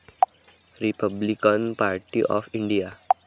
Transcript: Republican party of India